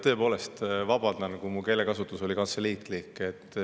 Tõepoolest vabandan, kui mu keelekasutus oli kantseliitlik.